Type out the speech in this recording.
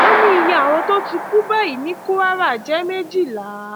ó ní iye àwọn tó ti kú báyìí ní kwara jẹ méjìlá